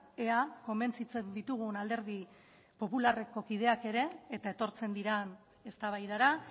ea konbentzitzen ditugun alderdi popularreko kideak ere eta etortzen diren eztabaidara